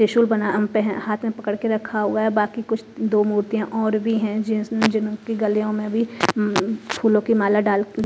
त्रिशूल बना अह पह हाथ में पकड़ के रखा हुआ है बाकी कुछ दो मूर्तियां और भी हैं जिन स जिनकी गलियों में भी उम्म फूलों की माला डाल--